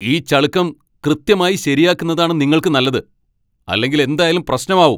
ഈ ചളുക്കം കൃത്യമായി ശെരിയാക്കുന്നതാണ് നിങ്ങൾക്ക്‌ നല്ലത്, അല്ലെങ്കിൽ എന്തായാലും പ്രശ്നമാവും!